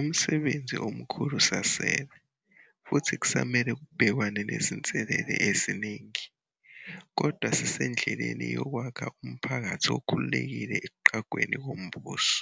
Umsebenzi omkhulu usasele, futhi kusamele kubhekwane nezinselele eziningi. Kodwa sisendleleni yokwakha umphakathi okhululekile ekuqhwagweni kombuso